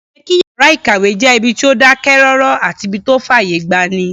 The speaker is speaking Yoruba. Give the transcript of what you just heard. Ó yẹ kí yàrá-ìkàwé jẹ́ ibi tó dákẹ́ rọ́rọ́ àti ibí tó fàyè gbani